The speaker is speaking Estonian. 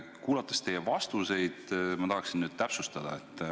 Kuulanud teie vastuseid, ma tahaksin üht asja täpsustada.